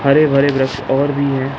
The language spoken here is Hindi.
हरे-भरे और भी हैं।